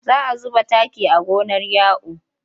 Za zuba taki a gonar Ya'u.